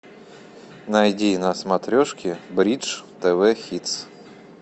найди на смотрешке бридж тв хитс